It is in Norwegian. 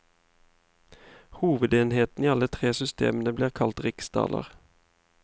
Hovedenheten i alle tre systemene ble kalt riksdaler.